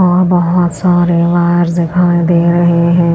और बहोत सारे वॉयर्स दिखाई दे रहे हैं।